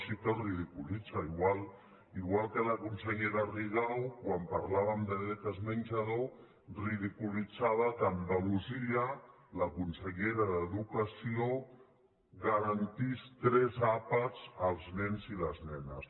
sí que els ridiculitza igual que la consellera rigau quan parlàvem de beques menjador ridiculitzava que a andalusia la consellera d’educació garantís tres àpats als nens i les nenes